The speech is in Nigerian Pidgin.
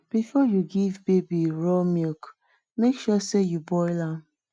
before you give baby raw milk make sure sey you boil am